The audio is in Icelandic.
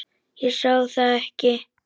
Ég sá það ekki þá.